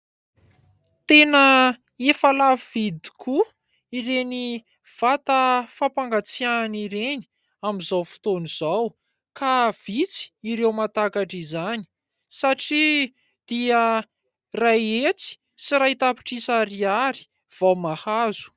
Tena efa lafo vidy tokoa ireny vata fampangatsihana ireny amin'izao fotoana izao ka vitsy ireo mahatakatra izany satria dia iray hetsy sy iray tapitrisa ariary vao mahazo.